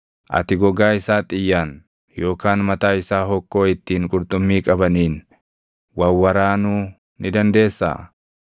Ati gogaa isaa xiyyaan, yookaan mataa isaa hokkoo ittiin qurxummii qabaniin // wawwaraanuu ni dandeessaa?